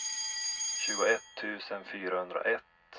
tjugoett tusen fyrahundraett